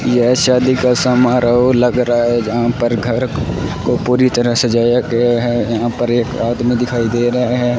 यह शादी का समारोह लग रहा है जहां पर घर को पूरी तरह सजाया गया है यहां पर एक आदमी दिखाई दे रहे है।